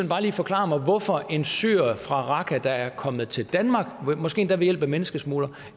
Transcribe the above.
bare lige forklare mig hvorfor en syrer fra raqqa der er kommet til danmark måske endda ved hjælp af en menneskesmugler